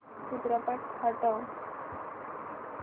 चित्रपट हटव